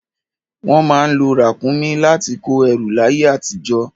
Wọ́n má ń lo ràkúnmí láti kó ẹrù láyé àtijọ́.